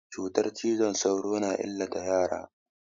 Cutan cizon sauro na illata yara.